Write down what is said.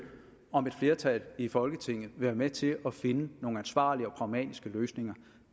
om et flertal i folketinget vil være med til at finde nogle ansvarlige og pragmatiske løsninger